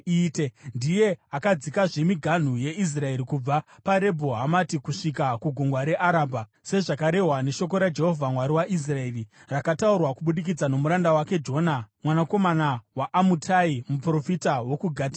Ndiye akadzikazve miganhu yeIsraeri kubva paRebho Hamati kusvika kuGungwa reArabha, sezvakarehwa neshoko raJehovha, Mwari waIsraeri, rakataurwa kubudikidza nomuranda wake Jona mwanakomana waAmutai, muprofita wokuGati Hefa.